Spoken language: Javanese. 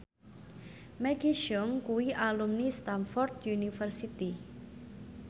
Maggie Cheung kuwi alumni Stamford University